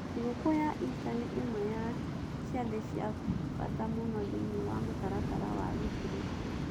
Thigũkũ ya Ista nĩ ĩmwe ya ciathĩ cia bata mũno thĩinĩ wa mũtaratara wa Gĩkristiano.